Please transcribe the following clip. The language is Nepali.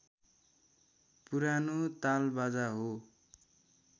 पुरानो तालबाजा हो